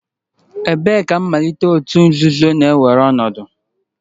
Ebee ka mmalite òtù nzuzo na-ewere ọnọdụ?